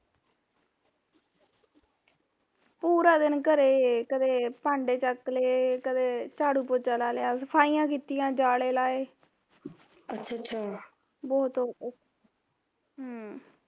ਪੂਰਾ ਦਿਨ ਘਰੇ ਘਰੇ ਕਰ, ਭਾਂਡੇ ਚੱਕ ਲਏ, ਕਦੇ ਝਾੜੂ ਪੋਚਾ ਲਾ ਲਿਆ, ਸਫਾਈਆਂ ਕੀਤੀਆਂ ਜਾਲੇ ਲਾਏ ਬਹੁਤ ਹਮ